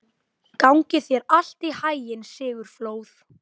Gangi þér allt í haginn, Sigurfljóð.